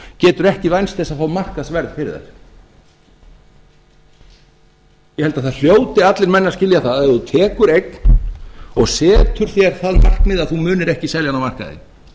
geturðu ekki vænst þess að fá markaðsverð fyrir þær ég held að það hljóti allir menn að skilja það að ef þú tekur eign og setur þér það markmið að þú munir ekki selja hana á markaði